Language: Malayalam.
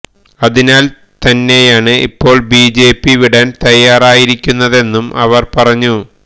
അതിനാല് തന്നെയാണ് ഇപ്പോള് ബിജെപി വിടാന് തയ്യാറായിരിക്കുന്നതെന്നും അവര് പറഞ്ഞു